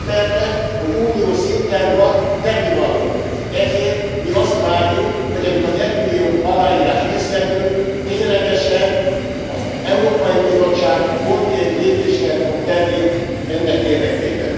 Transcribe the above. Elismerte, hogy uniós szinten van tennivaló, ezért mi azt várjuk, hogy amikor az egymillió aláírás összegyűlt, ténylegesen az Európai Bizottság konkrét lépéseket fog tenni ennek érdekében.